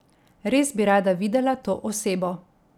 Res bi rada videla to osebo.